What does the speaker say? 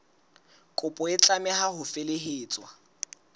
kopo e tlameha ho felehetswa